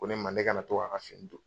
Ko ne ma ko ne kana to k'a a ka fini don.